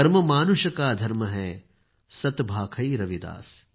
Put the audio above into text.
कर्म मानुष का धर्म है सत् भाखै रविदास